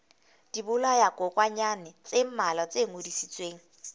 dibolayakokwanyana tse mmalwa tse ngodisitsweng